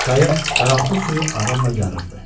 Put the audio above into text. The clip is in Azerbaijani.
Qayıq qaranlıq suyu aramla yarırdı.